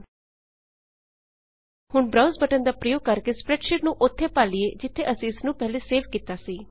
ਹੁਣ browse browse button ਦਾ ਪ੍ਰਯੋਗ ਕਰਕੇ ਸਪ੍ਰੈਡਸ਼ੀਟ ਨੂੰ ਉੱਥੇ ਭਾਲੀਏ ਜਿੱਥੇ ਅਸੀਂ ਇਸਨੂੰ ਪਹਿਲੇ ਸੇਵ ਕੀਤਾ ਸੀ